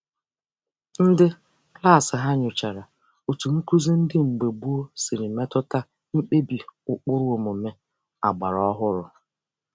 Ndị klaasị ha nyochara otu nkụzi ndị mgbe gboo siri metụta mkpebi ụkpụrụ omume ọgbara ọhụrụ.